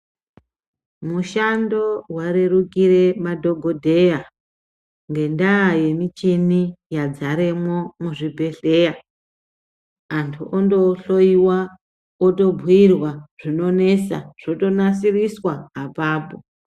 Mishando yarerukira madhokodheya ngendaya yemucheni yadzare mwo muzvibhedhlera antu ondo hloyiwa otobhuirwa zvinonesa zvotonasirwa apapo.